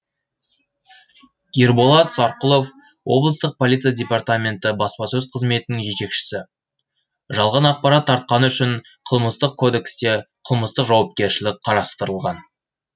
ерболат сарқұлов облыстық полиция департаменті баспасөз қызметінің жетекшісі жалған ақпарат тартқаны үшін қылмыстық кодексте қылмыстық жауапкершілік қарастырылған